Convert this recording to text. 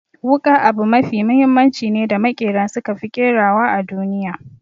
Wuƙa abu mafi mahimmanci ne da maƙera suka fi ƙerawa a duniya.